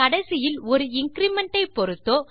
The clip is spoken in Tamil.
கடைசியில் ஒரு இன்கிரிமெண்ட் டை பொருத்தோ